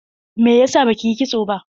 Me yasa baki yi kitso ba?